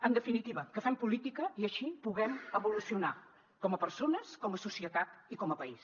en definitiva que fem política i així puguem evolucionar com a persones com a societat i com a país